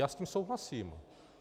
Já s tím souhlasím.